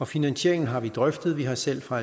finansieringen har vi drøftet vi har selv fra